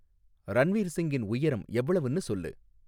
ரன்வீர் சிங்கின் உயரம் எவ்வளவுன்னு சொல்லு